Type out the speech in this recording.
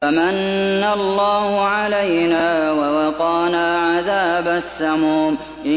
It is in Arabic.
فَمَنَّ اللَّهُ عَلَيْنَا وَوَقَانَا عَذَابَ السَّمُومِ